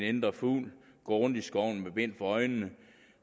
indre fugl gå rundt i skoven med bind for øjnene